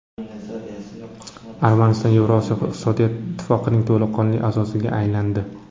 Armaniston Yevroosiyo iqtisodiy ittifoqining to‘laqonli a’zosiga aylandi.